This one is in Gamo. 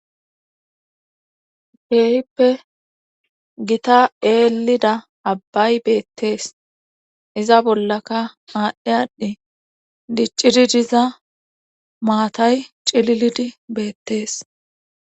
Feehippe gita eelida abbay beettees iza bollaka aadhdhi aadhdhi diccidi diza maatay cililidi beettees.